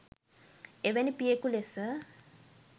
එවැනි පියකු ලෙස